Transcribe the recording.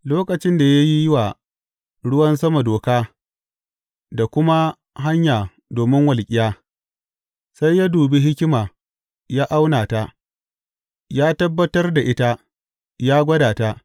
Lokacin da ya yi wa ruwan sama doka da kuma hanya domin walƙiya, sai ya dubi hikima ya auna ta; ya tabbatar da ita, ya gwada ta.